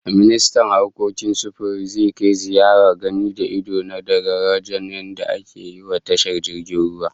Ministan harkokin sufiri zai kai ziyarar gani da ido na daga darajar da ake yiwa tashar jirgin ruwan